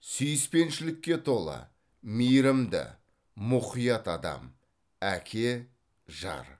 сүйіспеншілікке толы мейірімді мұқият адам әке жар